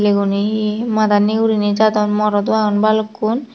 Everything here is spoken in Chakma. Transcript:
iguni he mada nigurine jadon morot do agon balukkun.